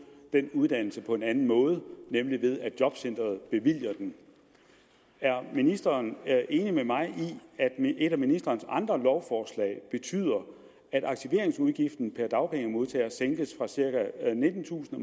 den uddannelse nemlig på den måde at jobcenteret bevilger den er ministeren enig med mig i at et af ministerens andre lovforslag betyder at aktiveringsudgiften per dagpengemodtager sænkes fra cirka nittentusind